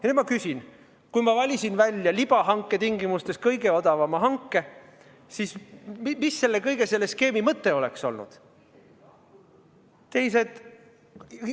Ja nüüd ma küsin: kui ma valisin välja libahanke tingimustes kõige odavama hanke, siis mis selle kõige, selle skeemi mõte oleks olnud?